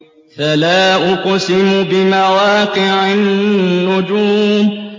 ۞ فَلَا أُقْسِمُ بِمَوَاقِعِ النُّجُومِ